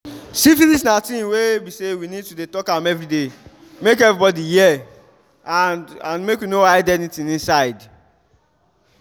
syphilis na thing's were be say we need to dey talk am everyday make everybody hear and and make we no hide anything inside